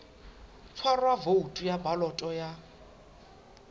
tshwarwa voutu ya baloto ya